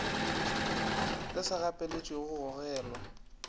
le sa gapeletšegego go gogelwa